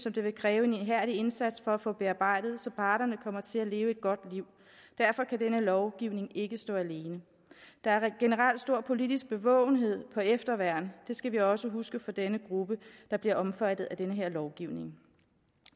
at det vil kræve en ihærdig indsats at få dem bearbejdet så parterne kommer til at leve et godt liv derfor kan denne lovgivning ikke stå alene der er generelt stor politisk bevågenhed på efterværn det skal vi også huske for denne gruppe der bliver omfattet af den her lovgivning